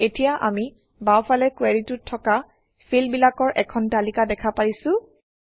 এতিয়া আমি বাওঁফালে কুৱেৰিটোত থকা ফিল্ডবিলাকৰ এখন তালিকা দেখা পাইছোঁ